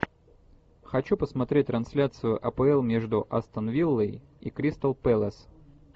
хочу посмотреть трансляцию апл между астон виллой и кристал пэлас